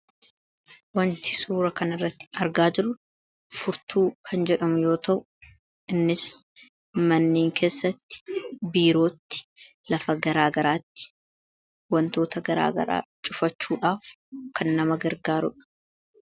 Wanti suura kan irratti argaa jiru furtuu kan jedhamu yoo ta'u; innis manneen keessatti biirootti lafa garaagaraatti wantoota garaagaraa cufachuudhaaf kan nama gargaaruudha.